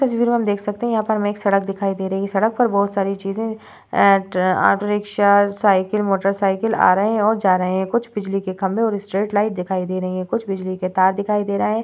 तस्वीर में हम देख सकते है यहाँ पर हमें एक सड़क दिखाई दे रही है सड़क पर बहुत सारी चींज़े ए auto rickshaw cycle motor cycle आ रहे है और जा रहे है कुछ बिजली के खम्बे और स्ट्रेट लाइट दिखाई दे रही है कुछ बिजली के तार दिखाई दे रहे --